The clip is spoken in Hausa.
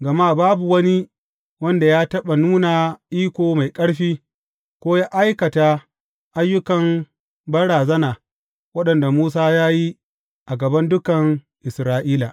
Gama babu wani wanda ya taɓa nuna iko mai ƙarfi, ko yă aikata ayyukan banrazana waɗanda Musa ya yi a gaban dukan Isra’ila.